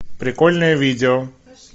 прикольное видео